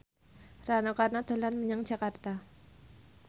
Rano Karno dolan menyang Jakarta